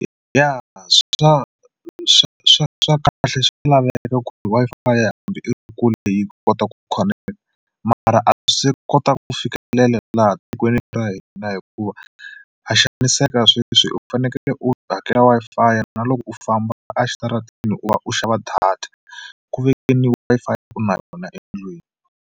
Ya swa swa swa swa kahle swa laveka ku ri Wi-Fi hambi i kule yi kota ku connect, mara a kota ku fikelela laha tikweni ra hina hikuva ha xaniseka sweswi u fanekele u hakela Wi-Fi na loko u famba a xitarateni u va u xava data ku Wi-Fi u na yona endlwini.